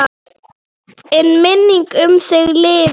En minning um þig lifir.